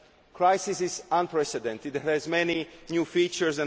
The crisis is unprecedented and has many new features.